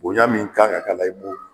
Bonya min kan ka kala i b'o